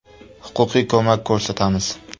Huquqiy ko‘mak ko‘rsatamiz.